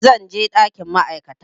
Zan je ɗakin ma'aikata